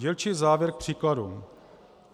Dílčí závěr k příkladům.